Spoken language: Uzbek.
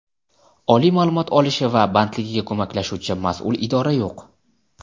oliy ma’lumot olishi va bandligiga ko‘maklashuvchi mas’ul idora yo‘q.